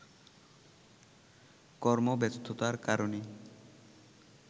কর্মব্যস্ততার কারণে